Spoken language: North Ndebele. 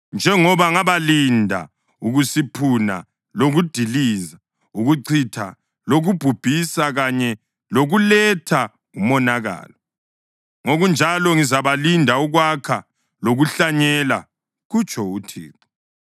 Njengoba ngabalinda ukusiphuna lokudiliza, ukuchitha lokubhubhisa kanye lokuletha umonakalo, ngokunjalo ngizabalinda ukwakha lokuhlanyela,” kutsho uThixo.